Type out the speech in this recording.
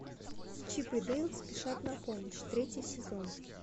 чип и дейл спешат на помощь третий сезон